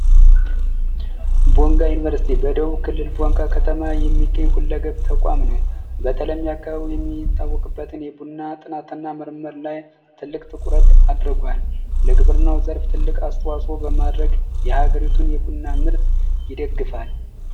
ቦንጋ ዩኒቨርስቲ በደቡብ ክልል የሚገኝ በቦንጋ ከተማ የሚገኝ ሁለገብ ተቋም ነው የሚታወቅበትን የቡና ጥናትና ምርምር መተዋወቂያ አድርጓል በግብርና ዘርፍ ከፍተኛ አስተዋጾ አበርክቷል የሀገሪቱን የቡና ምርት ይደግፋል።